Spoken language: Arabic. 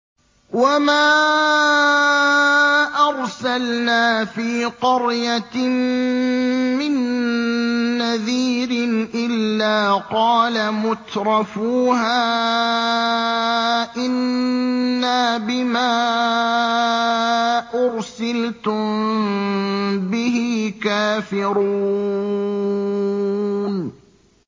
وَمَا أَرْسَلْنَا فِي قَرْيَةٍ مِّن نَّذِيرٍ إِلَّا قَالَ مُتْرَفُوهَا إِنَّا بِمَا أُرْسِلْتُم بِهِ كَافِرُونَ